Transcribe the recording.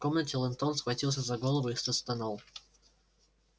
в комнате лентон схватился за голову и застонал